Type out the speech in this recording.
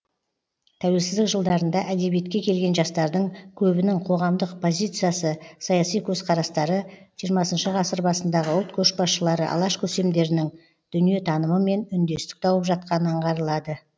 тәуелсіздік жылдарында әдебиетке келген жастардың көбінің қоғамдық позициясы саяси көзқарастары жиырмасыншы ғасыр басындағы ұлт көшбасшылары алаш көсемдерінің дүниетанымымен үндестік тауып жатқаны аңғарылады